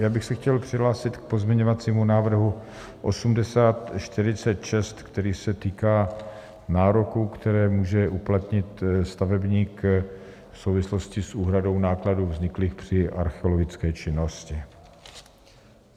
Já bych se chtěl přihlásit k pozměňovacímu návrhu 8046, který se týká nároků, které může uplatnit stavebník v souvislosti s úhradou nákladů vzniklých při archeologické činnosti.